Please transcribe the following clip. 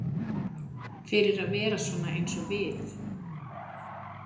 Fyrir að vera svona eins og við.